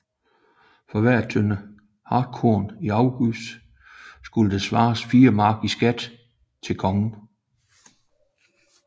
For hver tønde hartkorn i afgift skulle der svares 4 mark i skat til kongen